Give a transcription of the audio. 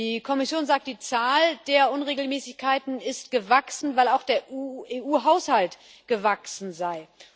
Die Kommission sagt Die Zahl der Unregelmäßigkeiten sei gewachsen, weil auch der EU Haushalt gewachsen sei.